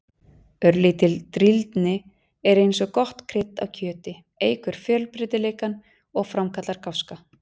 Örlítil drýldni er eins og gott krydd á kjöti, eykur fjölbreytileikann og framkallar gáska.